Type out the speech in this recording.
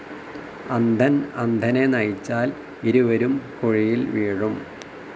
അന്ധൻ അന്ധനെ നയിച്ചാൽ ഇരുവരും കുഴിയിൽ വീഴും.